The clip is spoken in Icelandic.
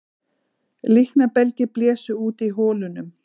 Líknarbelgir blésu út í holunum